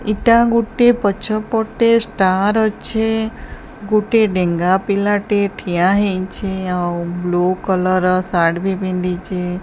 ଇଟା ଗୋଟେ ପଛ ପଟେ ଷ୍ଟାର ଅଛେ ଗୋଟେ ଡେଙ୍ଗା ପିଲା ଟେ ଠିଆ ହେଇଚି ଆଉ ବ୍ଲୁ କଲର ର ସାର୍ଟ ବି ପିନ୍ଧିଚି ।